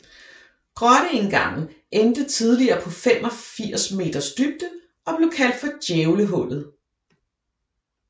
Grotteindgangen endte tidligere på 85 meters dybde og blev kaldt for Djævlehullet